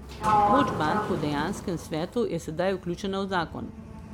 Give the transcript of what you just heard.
Moč bank v dejanskem svetu je sedaj vključena v zakon.